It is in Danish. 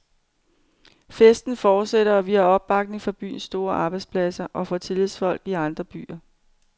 Festen fortsætter, og vi har opbakning fra byens store arbejdspladser og fra tillidsfolk i andre byer.